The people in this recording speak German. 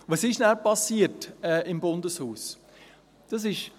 Was ist danach im Bundeshaus passiert?